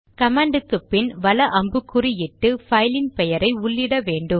command க்கு பின் வல அம்புக்குறி இட்டு பைலின் பெயரை உள்ளிட்ட வேண்டும்